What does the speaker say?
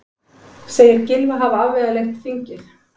Segir Gylfa hafa afvegaleitt þingið